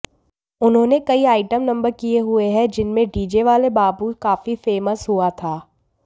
उन्होंने कई item number किए हुए हैं जिनमें डीजे वाले बाबू काफी फेमस हुआ था